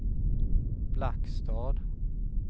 Blackstad